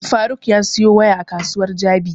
Faruk ya siyo waya a kasuwar jabi